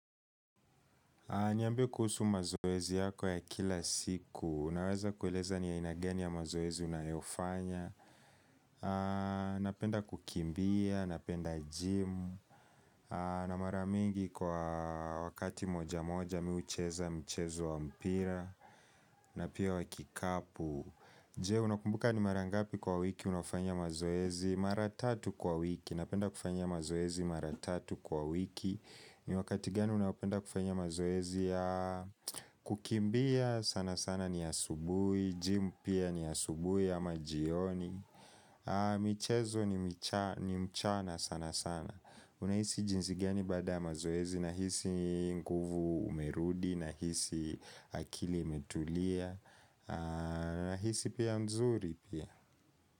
Niambie kuhusu mazoezi yako ya kila siku, unaweza kueleza ni ya aina gani ya mazoezi unayofanya Napenda kukimbia, napenda jimu, na mara mingi kwa wakati moja moja mi hucheza mchezo wa mpira na pia wa kikapu, je unakumbuka ni mara ngapi kwa wiki unafanya mazoezi? Mara tatu kwa wiki, napenda kufanya mazoezi mara tatu kwa wiki. Ni wakati gani unaopenda kufanya mazoezi? Ya kukimbia sana sana ni asubuhi, jimu pia ni asubuhi ama jioni michezo ni mchana sana sana. Unahisi jinsi gani baada ya mazoezi? Nahisi nguvu umerudi nahisi akili imetulia Nahisi pia mzuri pia.